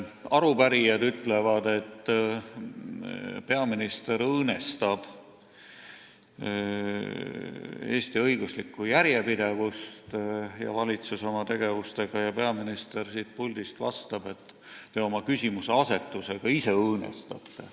Arupärijad ütlevad, et peaminister ja valitsus oma tegevusega õõnestavad Eesti õiguslikku järjepidevust, ja peaminister vastab siit puldist, et teie oma küsimuseasetusega ise õõnestate.